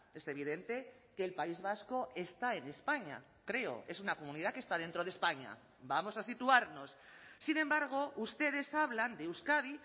es evidente que el país vasco está en españa creo es una comunidad que está dentro de españa vamos a situarnos sin embargo ustedes hablan de euskadi